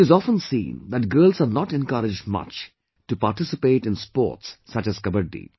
It is often seen that girls are not encouraged much to participate in sports such as Kabaddi